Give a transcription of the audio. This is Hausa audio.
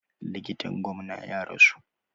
Likitan gwamna ya rasu.